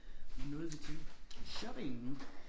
Hvad nåede vi til shopping